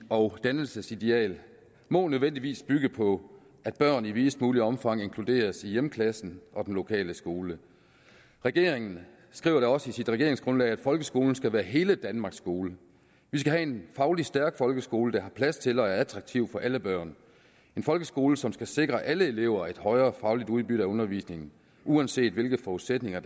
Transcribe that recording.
og dannelsesideal må nødvendigvis bygge på at børn i videst muligt omfang inkluderes i hjemklassen og den lokale skole regeringen skriver da også i sit regeringsgrundlag at folkeskolen skal være hele danmarks skole vi skal have en fagligt stærk folkeskole der har plads til og er attraktiv for alle børn en folkeskole som skal sikre alle elever et højere fagligt udbytte af undervisningen uanset hvilke forudsætninger